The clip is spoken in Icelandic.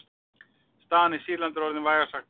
Staðan í Sýrlandi er orðin vægast sagt mjög flókin.